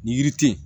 Ni yiri tɛ yen